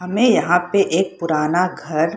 यहाँ पे एक पुराना घर --